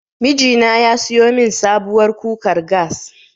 Miji na ya siyo min sabuwar kukar gas.